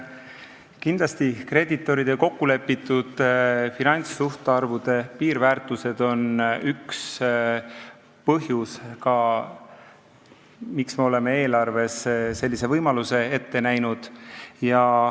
Kindlasti on kreeditoride kokkulepitud finantssuhtarvude piirväärtused üks põhjusi, miks me oleme eelarves sellise võimaluse ette näinud.